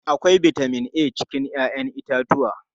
Akwai bitamin a cikin 'ya'yan itatuwa.